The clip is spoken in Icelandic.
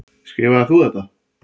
Skrifaðir þú þetta?